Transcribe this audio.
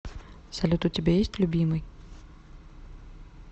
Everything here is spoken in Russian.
салют у тебя есть любимый